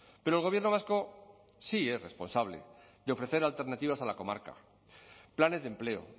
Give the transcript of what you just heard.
pero el gobierno vasco sí es responsable de ofrecer alternativas a la comarca planes de empleo